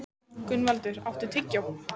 Gunnvaldur, áttu tyggjó?